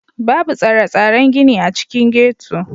Babu tsare-tsaren gini a cikin ghetto.